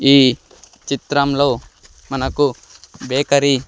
ఈ చిత్రంలో మనకు బేకరీ .